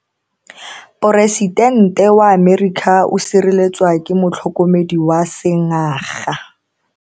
Poresitente wa Amerika o sireletswa ke motlhokomedi wa sengaga.